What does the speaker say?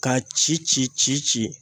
K'a ci ci ci ci